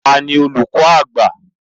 Ta ni olùkọ àgbà?